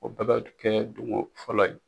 O bɛɛ ka kɛ dungɔ fɔla ye.